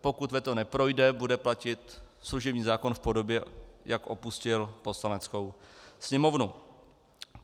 Pokud veto neprojde, bude platit služební zákon v podobě, jak opustil Poslaneckou sněmovnu.